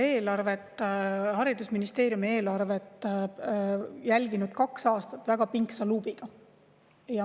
Olen meie, haridusministeeriumi eelarvet jälginud kaks aastat väga pingsalt luubiga.